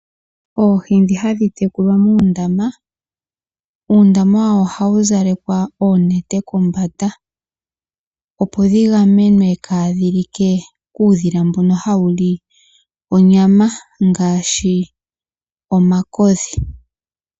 Oondama ndhoka hadhi tekulilwa ohadhi zalekwa oonete kombanda, opo dhi gamenwe kuushila mbono hawu li onyama ngaashi omakodhi.